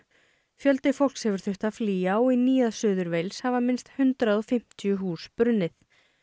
fjöldi fólks hefur þurft að flýja og í Nýja Suður hafa minnst hundrað og fimmtíu hús brunnið